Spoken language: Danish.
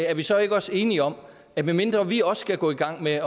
er vi så ikke også enige om at medmindre vi også skal gå i gang med